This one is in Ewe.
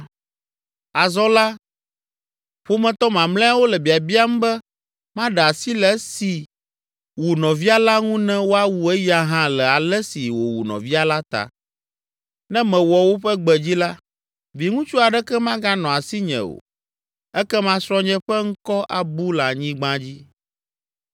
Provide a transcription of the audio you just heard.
Azɔ la, ƒometɔ mamlɛawo le biabiam be maɖe asi le esi wu nɔvia la ŋu ne woawu eya hã le ale si wòwu nɔvia la ta. Ne mewɔ woƒe gbe dzi la, viŋutsu aɖeke maganɔ asinye o, ekema srɔ̃nye ƒe ŋkɔ abu le anyigba dzi.”